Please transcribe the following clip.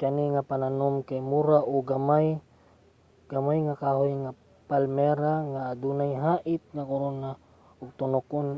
kani nga mga pananom kay mura uo gamay nga kahoyng palmera nga adunay hait nga korona ug tunokon